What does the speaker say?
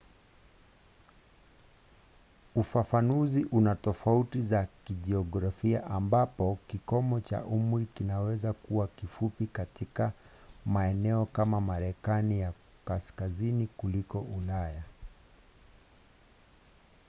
ufafanuzi una tofauti za kijiografia ambapo kikomo cha umri kinaweza kuwa kifupi katika maeneo kama marekani ya kaskazini kuliko ulaya